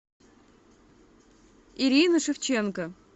ирины шевченко